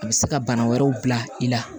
A bɛ se ka bana wɛrɛw bila i la